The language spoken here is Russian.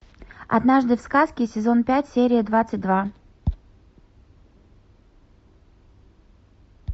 однажды в сказке сезон пять серия двадцать два